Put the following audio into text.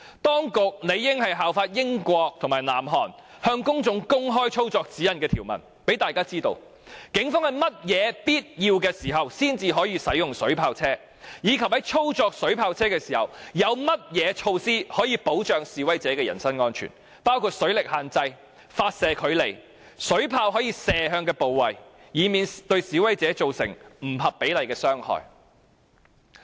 當局理應效法英國及南韓，向公眾公開操作指引的內容，讓大家知道警方在甚麼必要情況下才可以使用水炮車，以及在操作水炮車時，有甚麼措施可以保障示威者的人身安全，包括水力限制、發射距離、水炮可射的部位等，以免對示威者造成不合比例的傷害。